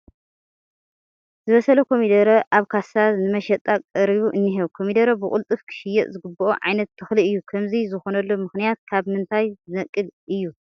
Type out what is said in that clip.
ዝበሰለ ኮሚደረ ኣብ ካሳ ንመሸጣ ቀሪቡ እኒሀ፡፡ ኮሚደረ ብቕልጡፍ ክሽየጥ ዝግብኦ ዓይነት ተኽሊ እዩ፡፡ ከምዚ ዝኾነሉ ምኽንያት ካብ ምንታይ ዝነቅል እዩ?